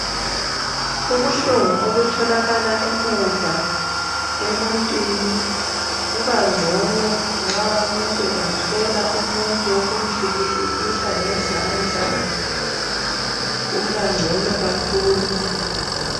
Ubuhlungu obutholakala emuva emuntwini kubangcono nxa umuntu engathola umuntu wokumhliki hlikihla ngezandla ubangcono kakhulu.